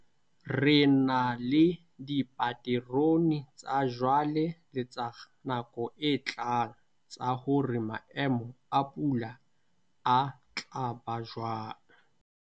Re na le dipaterone tsa jwale le tsa nako e tlang tsa hore maemo a pula a tla ba jwang.